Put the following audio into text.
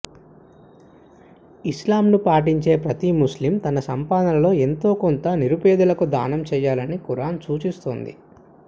ఇస్లాంను పాటించే ప్రతి ముస్లిం తన సంపాదనలో ఎంతో కొంత నిరుపేదలకు దానం చేయాలని ఖురాన్ సూచిస్తోంది